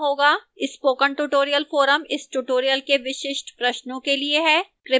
spoken tutorial forum इस tutorial के विशिष्ट प्रश्नों के लिए है